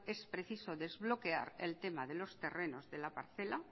es preciso desbloquear el tema de los terrenos de la parcela